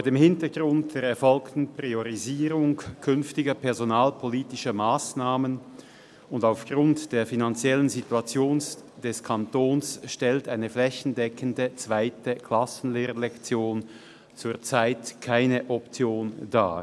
Vor dem Hintergrund dieser erfolgten Priorisierung künftiger personalpolitischer Massnahmen und aufgrund der finanziellen Situation des Kantons stellt eine flächendeckende zweite Klassenlehrerlektion zurzeit keine Option dar.